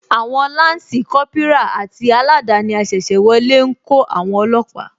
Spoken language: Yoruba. Àwon Lansi Kópírà àti aladani asese wọlé ńkó àwon olóòpà